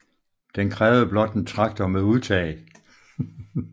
Den krævede blot en traktor med udtag